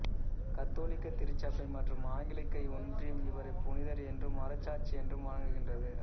கத்தோலிக்க திருச்சபை மற்றும் ஆங்கிலிக்க ஒன்றியம் இவரை புனிதர் என்றும் மறைசாட்சி என்றும் வணங்குகின்றது